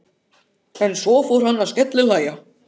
En svo fór hann að skellihlæja.